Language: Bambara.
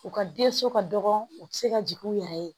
U ka denso ka dɔgɔn u bɛ se ka jigin u yɛrɛ ye